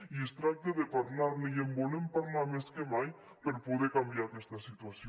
i es tracta de parlar ne i en volem parlar més que mai per poder canviar aquesta situació